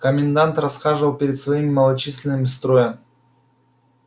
комендант расхаживал перед своим малочисленным строем